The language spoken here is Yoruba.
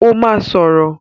Ó máa sọ̀rọ̀.